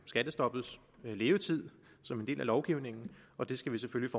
skattestoppets levetid som en del af lovgivningen og det skal vi selvfølgelig